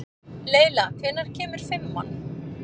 Leyla, hvenær kemur fimman?